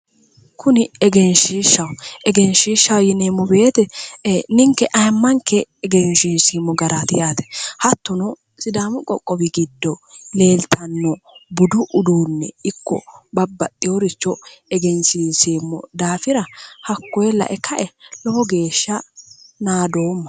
Kuni egenshishshaho ,egenshishshaho yinneemmowete ninke ayimmanke egenshisheemmo garati yaate, hattono sidaamu qoqqowi giddo leelittano budu uduune ikke babbaxewori giddo egenshisheemmo daafira hakkoe lae kae lowo geeshsha naadomma".